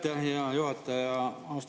Aitäh, hea juhataja!